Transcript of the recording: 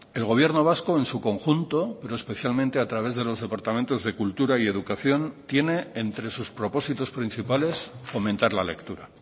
el gobierno vasco en su conjunto pero especialmente a través de los departamentos de cultura y educación tiene entre sus propósitos principales fomentar la lectura